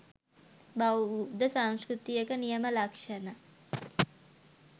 බෞද්ධ සංස්කෘතියක නියම ලක්ෂණ